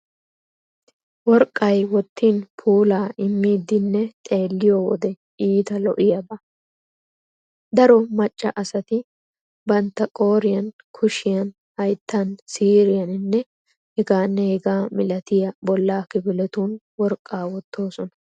Worqqay wottin puulaa immidinne xeelliyo wode iita lo'iyaaba. Daro maccaa asati bantta qooriyan, kushiyan, hayttan, siiriyaaninne hegaanne hegaa milatiya bollaa kifiletun worqqaa wottoosona.